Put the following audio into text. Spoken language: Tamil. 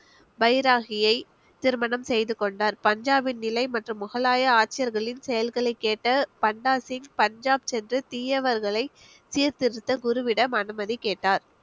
பைராகியை திருமணம் செய்து கொண்டார் பஞ்சாபின் நிலை மற்றும் முகலாய ஆட்சியர்களின் செயல்களை கேட்ட பண்டா சிங் பஞ்சாப் சென்று தீயவர்களை சீர்திருத்த குருவிடம் அனுமதி கேட்டார்